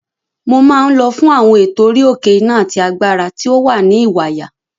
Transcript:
Mo máa ń lọ fún àwọn ètò orí-òkè iná àti agbára tí ó wà ní Ìwàyà.